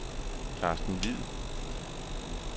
Carsten Hviid